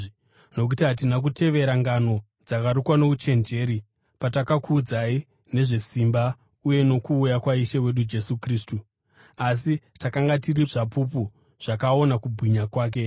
Nokuti hatina kutevera ngano dzakarukwa nouchenjeri patakakuudzai nezvesimba uye nokuuya kwaIshe wedu Jesu Kristu, asi takanga tiri zvapupu zvakaona kubwinya kwake.